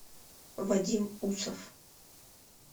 вадим усов